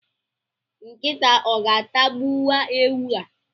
Nkịta o ga-atagbuwu ewu a?.